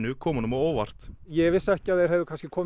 komu honum á óvart ég vissi ekki að þeir hefði komið